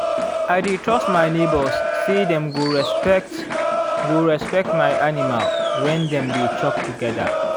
i dey trust my neighbours say dem go respect go respect my animal when dem dey chop together.